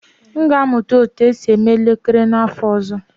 M ga-amụta otú e si eme elekere n'afọ ọzọ